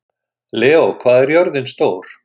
Leó, hvað er jörðin stór?